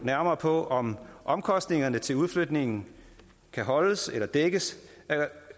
nærmere på om omkostningerne til udflytningen kan holdes eller dækkes